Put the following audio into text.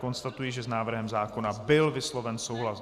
Konstatuji, že s návrhem zákona byl vysloven souhlas.